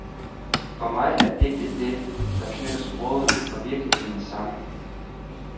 For mig er digtet det, der knytter sproget og virkeligheden sammen.